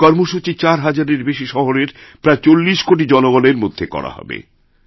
এই কর্মসূচি চার হাজারের বেশি শহরের প্রায়চল্লিশ কোটি জনগণের মধ্যে করা হবে